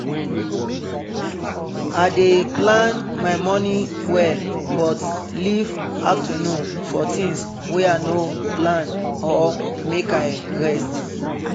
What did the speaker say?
i dey plan my morning well but leave afternoon for things wey i no plan or make i rest